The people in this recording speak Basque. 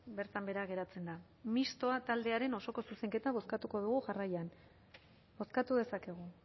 bertan behera geratzen da mistoa taldearen osoko zuzenketa bozkatuko dugu jarraian bozkatu dezakegu